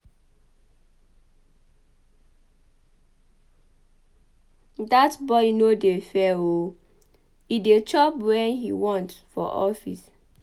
Dat boy no dey fear oo e dey chop wen he want for office.